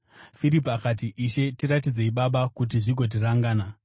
Firipi akati, “Ishe, tiratidzei Baba kuti zvigotiringana.”